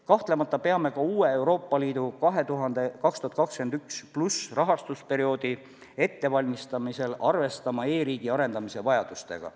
Kahtlemata peame ka uue Euroopa Liidu 2021+ rahastusperioodi ettevalmistamisel arvestama e-riigi arendamise vajadustega.